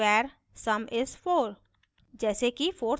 now static var sum is 4